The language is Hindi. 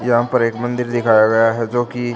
यहां पर एक मंदिर दिखाया गया है जो की--